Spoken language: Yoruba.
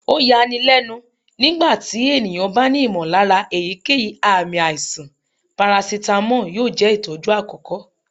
o ya ní lénu, nígbà tí ènìyàn bá ní ìmọ̀lára èyíkéyìí ààmì aíṣan, paracetamol yóò jẹ itọju akọkọ